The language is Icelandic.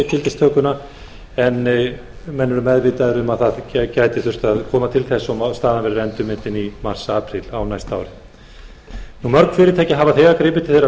gildistökuna en menn eru meðvitaðir um að hugsanlega gæti þurft að koma til þess og staðan verður endurmetin í mars apríl á næsta ári mörg fyrirtæki hafa þegar gripið til þeirra